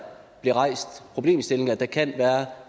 bliver rejst problemstilling at der kan være